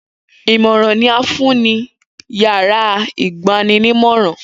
Imọran ni a fun ni yárà igbaninimọran.